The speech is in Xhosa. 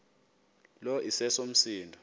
lo iseso msindo